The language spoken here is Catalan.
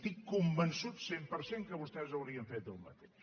estic convençut al cent per cent que vostès haurien fet el mateix